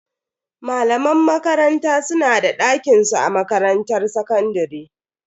Malaman makaranta su na da dakinsu a makarantar sakandare.